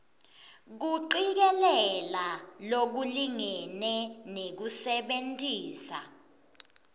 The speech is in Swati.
kucikelela lokulingene nekusebentisa